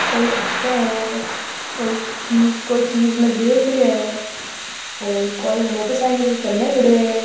कोई हंस है कोई चीज-कोई चीज न देख रयो है ओर कोई मोटरसाइकिल ने कन खडयो है।